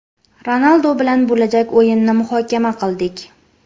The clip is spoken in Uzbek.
Ronaldu bilan bo‘lajak o‘yinni muhokama qildik.